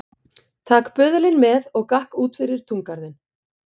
Tak böðulinn með og gakk út fyrir túngarðinn.